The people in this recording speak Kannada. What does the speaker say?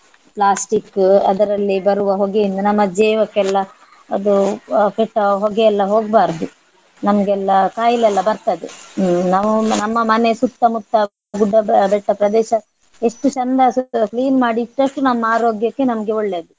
Plastic ಅದರಲ್ಲಿ ಬರುವ ಹೊಗೆಯಿಂದ ನಮ್ಮ ಜೀವಕ್ಕೆಲ್ಲ ಅದು ಆ ಕೆಟ್ಟ ಹೊಗೆ ಎಲ್ಲ ಹೋಗ್ಬಾರ್ದು ನಮ್ಗೆಲ್ಲ ಖಾಯಿಲೆ ಎಲ್ಲ ಬರ್ತದೆ. ಹ್ಮ್ ನಾವು ನಮ್ಮ ಮನೆ ಸುತ್ತಮುತ್ತ ಗುಡ್ಡ ಬೆ~ ಬೆಟ್ಟ ಪ್ರದೇಶ ಎಷ್ಟು ಚಂದ clean ಮಾಡಿ ಇಟ್ಟಷ್ಟು ನಮ್ಮ ಆರೋಗ್ಯಕ್ಕೆ ನಮ್ಗೆ ಒಳ್ಳೇದು.